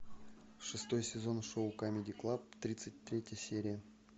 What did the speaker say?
шестой сезон шоу камеди клаб тридцать третья серия